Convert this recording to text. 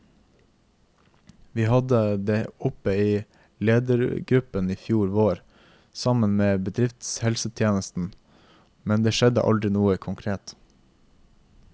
Vi hadde det oppe i ledergruppen i fjor vår, sammen med bedriftshelsetjenesten, men det skjedde aldri noe konkret.